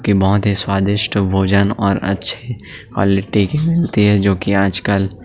के बोहत ही स्वादिष्ट भोजन और अच्छे क्वालिटी के जो कि आजकल--